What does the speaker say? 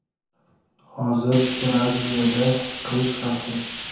Hozir Braziliyada qish fasli.